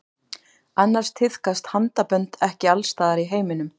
Annars tíðkast handabönd ekki alls staðar í heiminum.